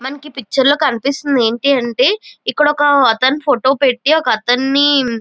మనకి ఈ పిక్చర్ కనిపిస్తూ ఏంటంటే ఇక్కడ ఒకతను ఫోటో పెట్టి ఒకతన్ని --